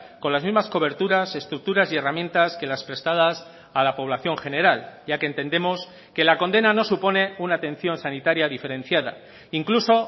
con las mismas coberturas estructuras y herramientas que las prestadas a la población general ya que entendemos que la condena no supone una atención sanitaria diferenciada incluso